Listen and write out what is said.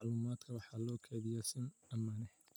Dhammaan macluumaadka waxaa loo kaydiyaa si ammaan ah.